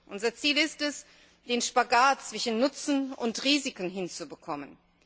Unser Ziel ist es, den Spagat zwischen Nutzen und Risiken hinzubekommen.